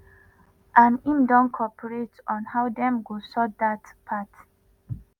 and im don cooperate on how dem go sort dat part.